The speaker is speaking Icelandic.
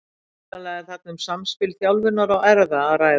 Hugsanlega er þarna um samspil þjálfunar og erfða að ræða.